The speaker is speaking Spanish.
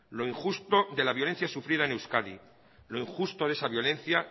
lo injusto de la violencia sufrida en euskadi lo injusto de esa violencia